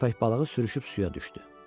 Köpək balığı sürüşüb suya düşdü.